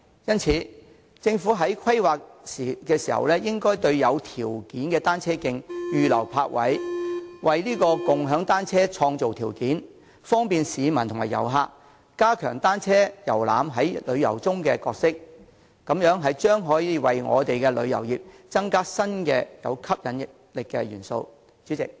因此，政府在進行規劃時，應該在有條件的單車徑預留泊位，為共享單車創造條件，方便市民和遊客，加強單車遊覽在旅遊中的角色，這樣將可以為我們的旅遊業增加具吸引力的新元素。